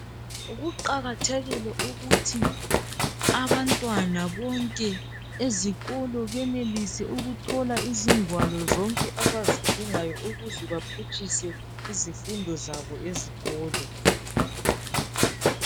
Kuqakathekile ukuthi abantwana bonke ezikolo benelise ukuthola izingwalo zonke abazidingayo ukuze baphutshise izifundo zabo ezikolo